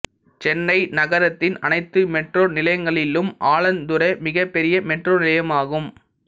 சென்னை நகரத்தின் அனைத்து மெட்ரோ நிலையங்களிலும் ஆலந்தூரே மிகப்பெரிய மெட்ரோ நிலையமாகும்